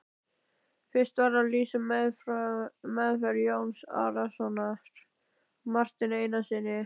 Fyrst var að lýsa meðferð Jóns Arasonar á Marteini Einarssyni.